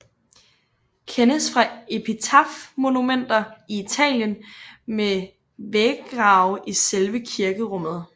Kendes fra epitafmonumenter i Italien med væggrave i selve kirkerummet